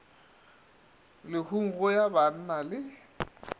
lehung go ya banna le